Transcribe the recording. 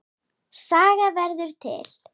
Saga verður til